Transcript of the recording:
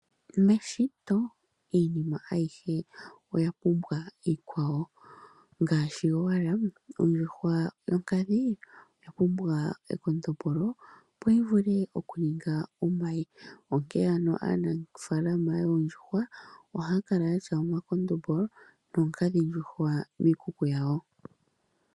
Meshito iinima ayihe oya pumbwa iikwawo ngaashi owala ondjuhwa yonkadhi oya pumbwa ekondombolo opo yivule okuninga omayi. Onke ano ofaalama yoondjuhwa ohayi kala yina omakondombolo noonkadhindjuhwa miikuku yawo.